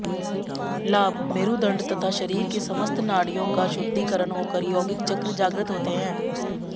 लाभः मेरूदण्ड तथा शरीर की समस्त नाड़ियों का शुद्धिकरण होकर यौगिक चक्र जागृत होते हैं